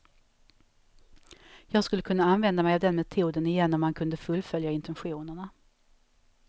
Jag skulle kunna använda mig av den metoden igen om man kunde fullfölja intentionerna.